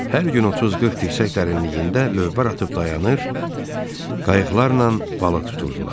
Hər gün 30-40 dirsek dərinliyində lövbər atıb dayanır, qayıqlarla balıq tuturdular.